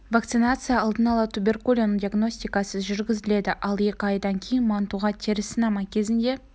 вакцинация алдын ала туберкулин диагностикасыз жүргізіледі ал екі айдан кейін мантуға теріс сынама кезінде